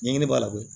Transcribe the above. Ɲɛɲini b'a la koyi